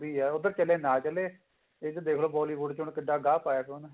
ਇਹੀ ਆ ਉੱਧਰ ਚੱਲੇ ਨਾ ਚੱਲੇ ਇੱਧਰ ਦੇਖਲੋ Bollywood ਚ ਕਿੰਨਾ ਗਾਹ ਪਾਇਆ